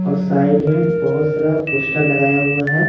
और साइड में बहुत सारा पोस्टर लगाया हुआ है।